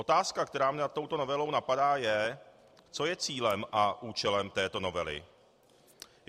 Otázka, která mě nad touto novelou napadá, je, co je cílem a účelem této novely.